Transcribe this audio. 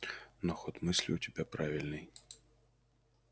но ход мысли у тебя правильный